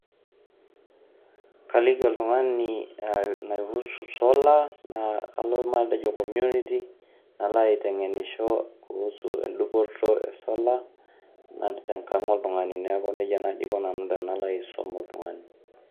Kaliki oltung'ani e naihusu solar naa kalo matejo community nalo aiteng'enisho kuhusu endupoto e solar nati tenkang' oltung'ani, neeku neija naaji aiko nanu tenalo aisom oltug'ani.